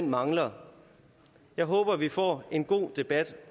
mangler jeg håber vi får en god debat